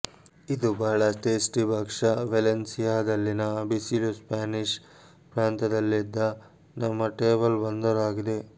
ಇದು ಬಹಳ ಟೇಸ್ಟಿ ಭಕ್ಷ್ಯ ವೇಲೆನ್ಸಿಯಾದಲ್ಲಿನ ಬಿಸಿಲು ಸ್ಪ್ಯಾನಿಷ್ ಪ್ರಾಂತದಲ್ಲಿದ್ದ ನಮ್ಮ ಟೇಬಲ್ ಬಂದರು ಆಗಿದೆ